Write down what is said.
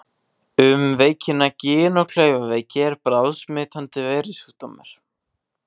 Um veikina Gin- og klaufaveiki er bráðsmitandi veirusjúkdómur.